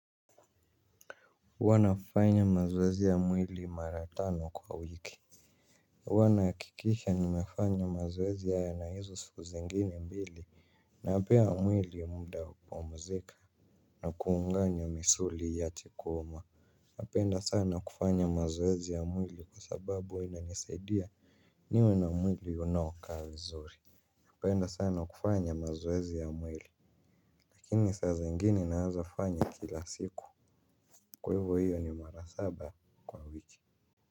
Huwana fanya mazowezi ya mwili maratano kwa wiki. Wana kikisha nimefanya mazowezi haya na hizo sikuzingine mbili. Napea mwili mda wa kupumuzika. Na kuunganya misuli iache kuuma napenda sana kufanya mazoezi ya mwili kwa sababu huwa inanisaidia. Niwe na mwili unaokaa vizuri. Apenda sana kufanya mazuwezi ya mwili. Lakini sasa zingine naezafanya kila siku. Kwiavo hiyo ni mara saba kwa wiki.